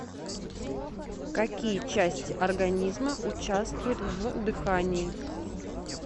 какие части организма участвуют в дыхании